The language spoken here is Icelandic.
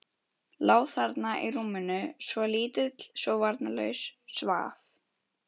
Lá þarna í rúminu, svo lítill, svo varnarlaus, svaf.